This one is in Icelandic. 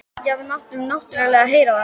Já, við máttum náttúrlega heyra það.